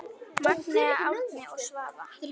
Magnea, Árni og Svava.